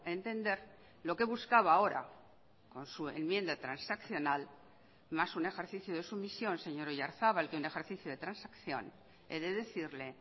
entender lo que buscaba ahora con su enmienda transaccional más un ejercicio de sumisión señor oyarzabal que un ejercicio de transacción he de decirle